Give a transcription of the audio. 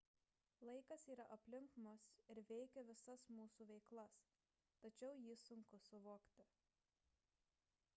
laikas yra aplink mus ir veikia visas mūsų veiklas tačiau jį sunku suvokti